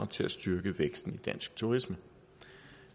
til at styrke væksten i dansk turisme